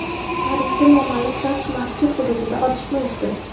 Parijda noma’lum shaxs masjid hududida otishma uyushtirdi.